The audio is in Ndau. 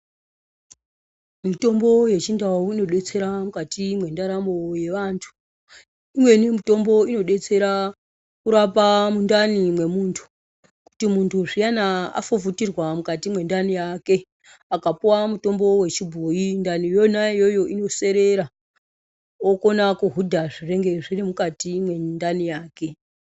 Mitombo yechindau inodetsera mukati mwendaramo yevantu imweni mitombo inodetsera kurapa mundani mwemuntu kuti muntu zviyani afufutirwa mukati mwendani yake akapuwa mutombo wrchibhoyi ndani iyona iyoyo inoserera okona kuhudha zvinonga zviri mukati mwendani yake.